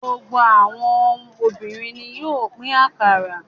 Gbogbo àwọn obìnrin ni yóò pín akara.